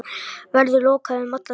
Verður lokaður um alla tíð.